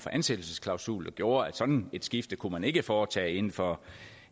ansættelsesklausul der gjorde at sådan et skifte kunne man ikke foretage inden for